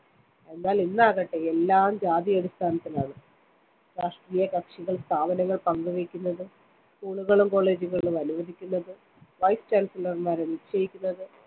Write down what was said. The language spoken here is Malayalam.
എന്നാൽ ഇന്നാകട്ടെ എല്ലാം ജാതി അടിസ്ഥാനത്തിലാണ്‌. രാഷ്‌ട്രീയകക്ഷികൾ, സ്ഥാപനങ്ങൾ പങ്കുവെയ്‌ക്കുന്നത്‌, school കളും college കളും അനുവദിക്കുന്നത്‌, Vice Chancellor മാരെ നിശ്ചയിക്കുന്നത്‌